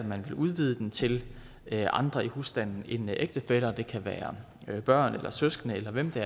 man vil udvide den til at gælde andre i husstanden end ægtefæller det kan være børn eller søskende eller hvem det